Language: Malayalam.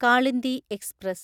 കാളിന്ദി എക്സ്പ്രസ്